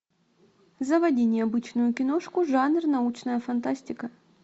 заводи необычную киношку жанр научная фантастика